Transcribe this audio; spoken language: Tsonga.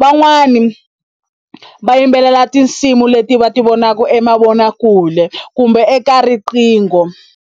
van'wani va yimbelela tinsimu leti va ti vonaku emavonakule kumbe eka riqingho.